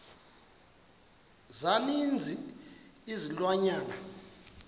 za ninzi izilwanyana